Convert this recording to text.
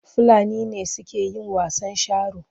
Fulani ne suke yin wasan sharo.